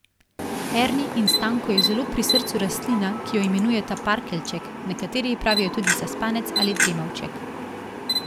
Erni in Stanku je zelo pri srcu rastlina, ki jo imenujeta parkeljček, nekateri ji pravijo tudi zaspanec ali dremavček.